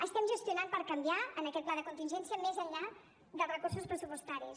estem gestionant per canviar en aquest pla de contingència més enllà dels recursos pressupostaris